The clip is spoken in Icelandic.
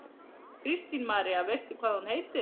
Kristín María: Veistu hvað hún heitir?